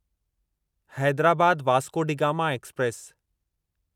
Hyderabad Vasco da Gama express